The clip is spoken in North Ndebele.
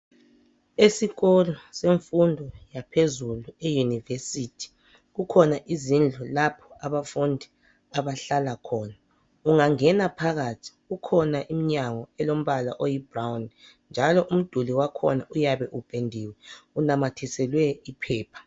Esikolo semfundo yaphezulu eYunivesithi kukhona izindlu lapho abafundi abahlala khona. Ungangena phakathi kukhona iminyango elombala oyi ( brown) . Njalo umduli wakhona uyabe upendiwe, unamathiselwe iphepha.